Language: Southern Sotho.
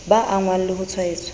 ba angwang le ho tshwaetswa